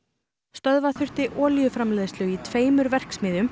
stöðva þurfti olíuframleiðslu í tveimur verksmiðjum